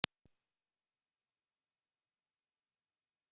Seifur, hvaða sýningar eru í leikhúsinu á föstudaginn?